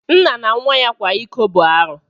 Nna na nwa ya kwa iko bu arụ.